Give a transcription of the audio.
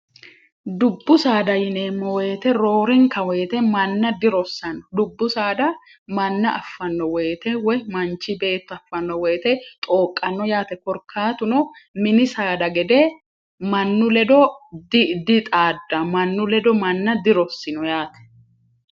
dubbu saada yineemmo woyite roorinka woyite manna dirossanno dubbu saada manna affanno woyite woy manchi beetto affanno woyite xooqqanno yaate korkaatuno mini saada gede mannu ledo dixaadda mannu ledo manna dirossino yaate